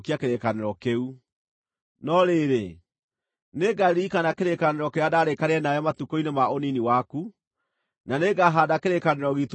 No rĩrĩ, nĩngaririkana kĩrĩkanĩro kĩrĩa ndarĩkanĩire nawe matukũ-inĩ ma ũnini waku, na nĩngahaanda kĩrĩkanĩro giitũ nawe gĩa gũtũũra.